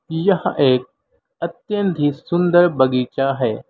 यह एक अत्यंत ही सुंदर बगीचा है।